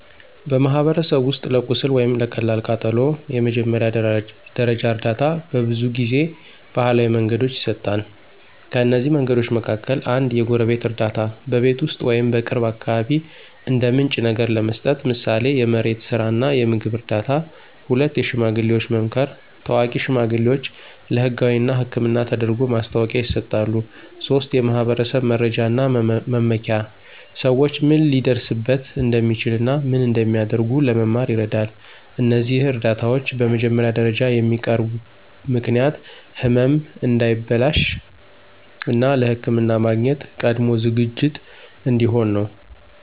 በማኅበረሰብ ውስጥ ለቁስል ወይም ለቀላል ቃጠሎ የመጀመሪያ ደረጃ እርዳታ በብዙ ጊዜ ባህላዊ መንገዶች ይሰጣል። ከእነዚህ መንገዶች መካከል፦ 1. የጎረቤት እርዳታ – በቤት ውስጥ ወይም በቅርብ አካባቢ እንደ ምንጭ ነገር ለመስጠት፣ ምሳሌ የመሬት ስራ እና የምግብ እርዳታ። 2. የሽማግሌዎች መምከር – ታዋቂ ሽማግሌዎች ለህጋዊ እና ሕክምና ተደርጎ ማስታወቂያ ይሰጣሉ። 3. የማኅበረሰብ መረጃ እና መመኪያ – ሰዎች ምን ሊደርስበት እንደሚችል እና ምን እንደሚያደርጉ ለመማር ይረዳል። እነዚህ እርዳታዎች በመጀመሪያ ደረጃ የሚያቀርቡ ምክንያት ህመም እንዳይበላሽ፣ እና ለሕክምና ማግኘት ቀድሞ ዝግጅት እንዲሆን ነው።